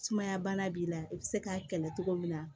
Sumaya bana b'i la i bɛ se k'a kɛlɛ cogo min na